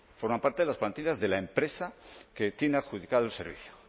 forman parte de las plantillas de la empresa que tiene adjudicado el servicio